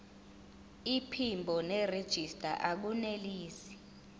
iphimbo nerejista akunelisi